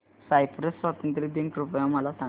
Cyprus स्वातंत्र्य दिन कृपया मला सांगा